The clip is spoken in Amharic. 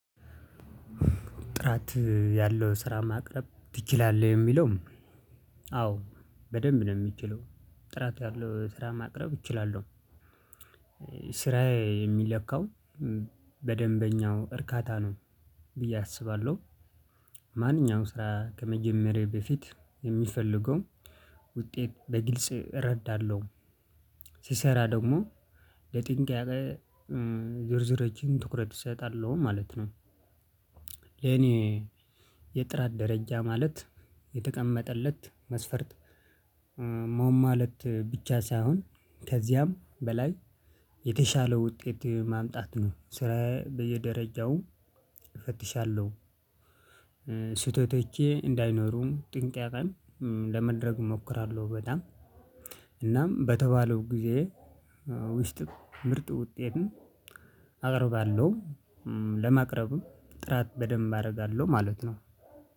ጥራት ያለው ስራ ማቅረብ ትችላለህ የሚለው? አዎ በደንብ ነው የሚችለው ጥራት ያለው ስራ ማቅረብ እችላለሁ። ስራዬ የሚለካው በደንበኛው እርካታ ነው ብዬ አስባለሁ። ማንኛውም ስራ ከመጀመሬ በፊት የሚፈልገው ውጤት በግልጽ እረዳለሁ። ሲሰራ ደግሞ ለጥንቅ ያቀ ዝርዝሮችን ትኩረት እሰጣለሁ ማለት ነው። ለኔ የጥራት ደረጃ ማለት የተቀመጠለት መስፈርት። ማለት ብቻ ሳይሆን ከዚያም በላይ የተሻለው ውጤት ማምጣት ነው። ስራዬ በየደረጃው እፈትሻለሁ ስህተቶቼ እንዳይኖሩም ጥንቃቄን ለመድረግ እሞክራለሁ። በጣም እናም በተባለው ጊዜ ውስጥ ምርጥ ውጤትን አቀርባለሁ። ለማቅረብም ጥራት በደንብ አረጋለው ማለት ነው።